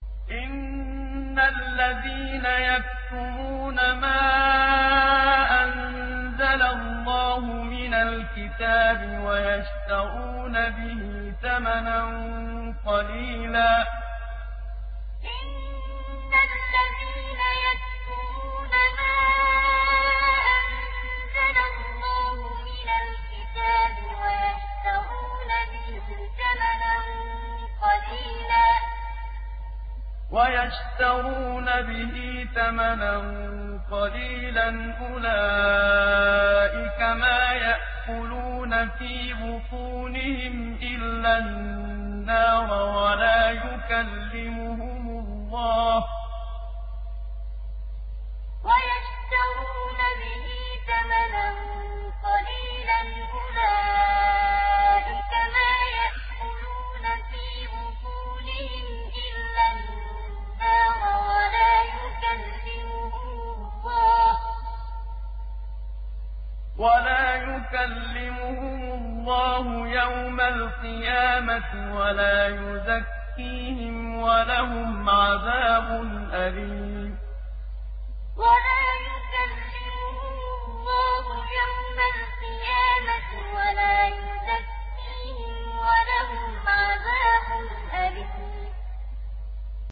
إِنَّ الَّذِينَ يَكْتُمُونَ مَا أَنزَلَ اللَّهُ مِنَ الْكِتَابِ وَيَشْتَرُونَ بِهِ ثَمَنًا قَلِيلًا ۙ أُولَٰئِكَ مَا يَأْكُلُونَ فِي بُطُونِهِمْ إِلَّا النَّارَ وَلَا يُكَلِّمُهُمُ اللَّهُ يَوْمَ الْقِيَامَةِ وَلَا يُزَكِّيهِمْ وَلَهُمْ عَذَابٌ أَلِيمٌ إِنَّ الَّذِينَ يَكْتُمُونَ مَا أَنزَلَ اللَّهُ مِنَ الْكِتَابِ وَيَشْتَرُونَ بِهِ ثَمَنًا قَلِيلًا ۙ أُولَٰئِكَ مَا يَأْكُلُونَ فِي بُطُونِهِمْ إِلَّا النَّارَ وَلَا يُكَلِّمُهُمُ اللَّهُ يَوْمَ الْقِيَامَةِ وَلَا يُزَكِّيهِمْ وَلَهُمْ عَذَابٌ أَلِيمٌ